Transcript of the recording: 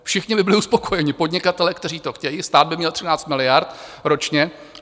Všichni by byli uspokojeni, podnikatelé, kteří to chtějí, stát by měl 13 miliard ročně.